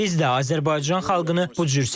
Biz də Azərbaycan xalqını bu cür sevirik.